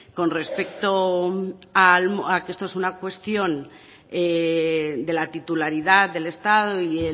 con respecto a que esto es una cuestión de la titularidad del estado y